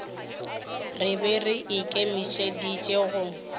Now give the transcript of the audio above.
re be re ikemišeditše go